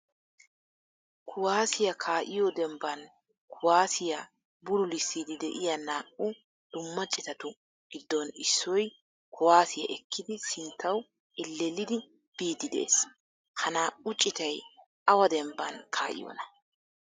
Kuwaasiyaa ka'iyo dembban kuwasiyaa bululissidi de'iya naa''u dumma ciitatu giddon issoy kuwasiyaa ekkidi sinttawu elellidi biidi de'ees. Ha naa''u ciitay awa demban ka'iyona?